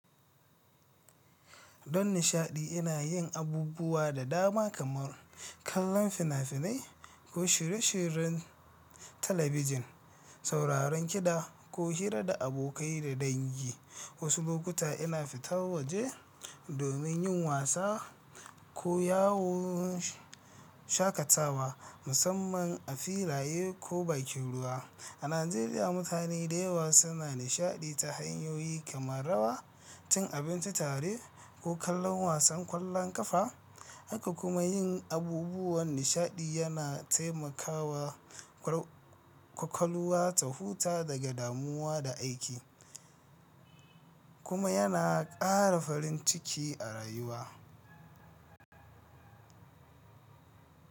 Don nishaɗi, ina yin abubuwa da dama kamar kallon fina-finai ko shirye-shiryen talabijin, sauraron kiɗa, ko hira da abokai da dangi. Wasu lokuta ina fita waje domin yin wasa ko yawon shakatawa, musamman a filaye ko bakinruwa. A Najeriya, mutane da yawa suna nishaɗi ta hanyoyi kamar rawa, cin abinci tare, ko kallon wasan ƙwallon ƙafa. Haka kuma yin abubuwan nishaɗi yana taimakawa kwakwalwa ta huta daga damuwa da aiki, kuma yana ƙara farin ciki a rayuwa.